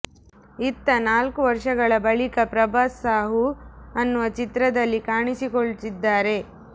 ಇತ್ತ ನಾಲ್ಕು ವರ್ಷಗಳ ಬಳಿಕ ಪ್ರಭಾಸ್ ಸಾಹೂ ಅನ್ನುವ ಚಿತ್ರದಲ್ಲಿ ಕಾಣಿಸಿಕೊಳ್ತಿದ್ದಾರೆ